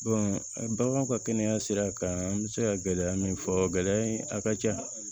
baganw ka kɛnɛya sira kan an bɛ se ka gɛlɛya min fɔ gɛlɛya in a ka ca